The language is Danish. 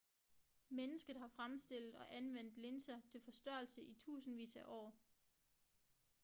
mennesket har fremstillet og anvendt linser til forstørrelse i tusindvis af år